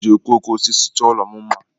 Ha ga-eji okooko osisi chọọ ụlọ m mma.